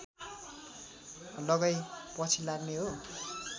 लगाइ पछि लाग्ने हो